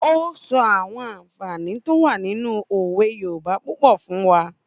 Ó sọ àwọn ànfààní tó wà nínu òwe yoòbá púpọ̀ fún wa